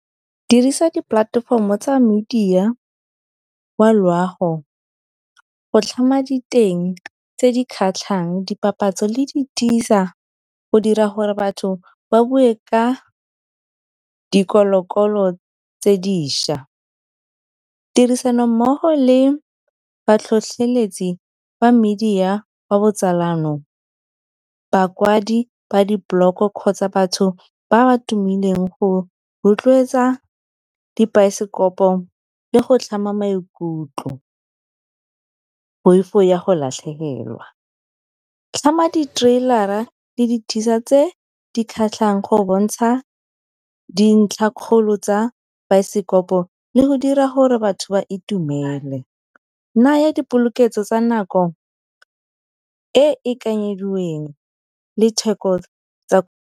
Dirisa dipolatefomo tsa media wa loago go tlhama diteng tse di kgatlhang dipapatso le di go dira gore batho ba bue ka dikolo-kolo tse dišwa. Tirisanommogo le batlhotlheletsi ba media wa botsalano bakwadi ba di-blog kgotsa batho ba ba tumileng go rotloetsa dibaesekopo le go tlhama maikutlo. Poifo ya go latlhegelwa, tlhama di-trailer-ra le tse di kgatlhang, go bontsha dintlha kgolo tsa baesekopo le go dira gore batho ba itumele. Naya dipoloketso tsa nako e e kanyediweng le theko tsa .